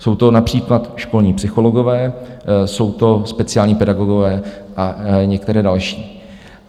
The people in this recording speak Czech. Jsou to například školní psychologové, jsou to speciální pedagogové a některé další.